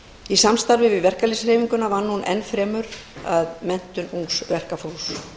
í samstarfi við verkalýðshreyfinguna vann hún enn fremur að menntun ungs verkafólks